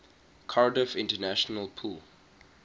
cardiff international pool